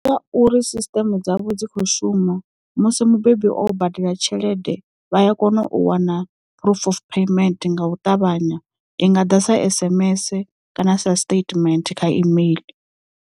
Nga uri sisteme dzavho dzi kho shuma musi mubebi wo badela tshelede vha a kona u wana proof of payment nga u ṱavhanya i nga ḓa sa sms kana sa stament kha email.